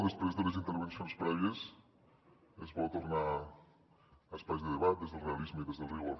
després de les intervencions prèvies és bo tornar a espais de debat des del realisme i des del rigor